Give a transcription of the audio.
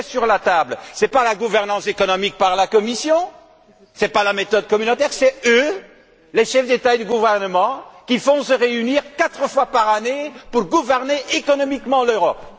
Ce qui est en jeu, ce n'est pas la gouvernance économique par la Commission, ce n'est pas la méthode communautaire, ce sont eux, les chefs d'État et de gouvernement, qui vont se réunir quatre fois par an pour gouverner économiquement l'Europe.